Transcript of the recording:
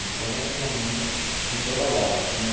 Então, minha mãe não trabalhava, tinha